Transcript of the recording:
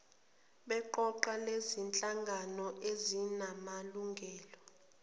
beqoqo lezinhlangano ezinamalungelo